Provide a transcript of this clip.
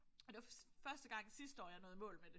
Og det var første gang sidste år jeg nåede i mål med det